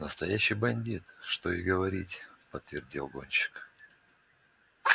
настоящий бандит что и говорить подтвердил гонщик